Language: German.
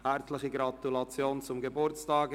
Herzliche Gratulation zum Geburtstag!